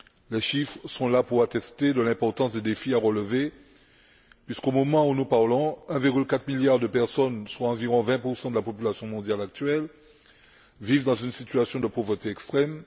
Les chiffres sont là pour attester de l'importance des défis à relever, puisqu'au moment où nous parlons, 1,4 milliard de personnes, soit environ 20 de la population mondiale actuelle, vivent dans une situation de pauvreté extrême.